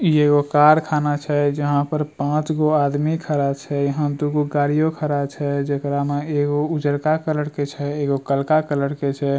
इ एगो कारखाना छै जहाँ पर पांच गो आदमी खड़ा छै यहाँ दू गो गाड़ियों छै जेकरा में एगो उजरका कलर के छै एगो करका कलर के छै।